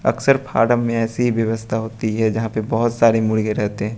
अक्सर फार्म में ऐसी व्यवस्था होती है यहां पे बहुत सारे मुर्गे रहते हैं।